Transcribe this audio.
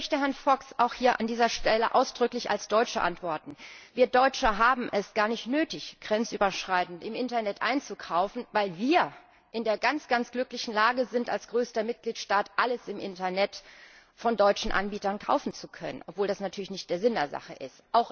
Ich möchte Herrn Fox auch hier an dieser Stelle ausdrücklich als Deutsche antworten Wir Deutsche haben es gar nicht nötig, grenzüberschreitend im Internet einzukaufen, weil wir als größter Mitgliedstaat in der ganz glücklichen Lage sind, alles im Internet von deutschen Anbietern kaufen zu können, obwohl das natürlich nicht der Sinn der Sache ist.